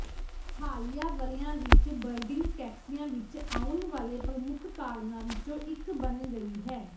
ਹਾਲੀਆ ਵਰ੍ਹਿਆਂ ਵਿੱਚ ਬਰਡਿੰਗ ਟੈਕਸੀਆਂ ਵਿੱਚ ਆਉਣ ਵਾਲੇ ਪ੍ਰਮੁੱਖ ਕਾਰਨਾਂ ਵਿੱਚੋਂ ਇੱਕ ਬਣ ਗਈ ਹੈ